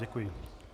Děkuji.